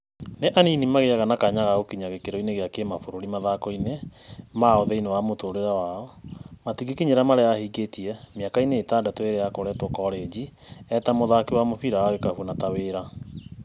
Nĩ anini mageaga na kanya ka gũkinya gĩkĩro kĩa kĩmabũrũri mathakoinĩ mao thĩiniĩ wa mũtũrĩre wao, matingĩkinyĩra marĩa ahingĩtie mĩakainĩ ĩtandatũ ĩrĩa akoretwo korenjinĩ eta mũthaki wa mũbira wa gĩkabũ na ta wĩra.